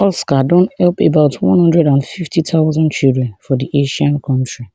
oscar don help about one hundred and fifty thousand children for di asian country